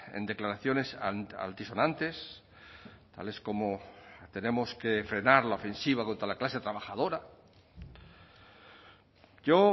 en declaraciones altisonantes tales como tenemos que frenar la ofensiva contra la clase trabajadora yo